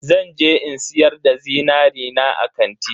Zan je in siyar da zinari na a kanti.